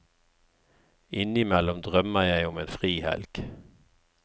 Innimellom drømmer jeg om en frihelg.